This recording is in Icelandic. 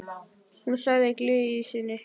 Hún sagði í gleði sinni: